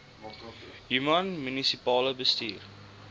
human munisipale bestuurder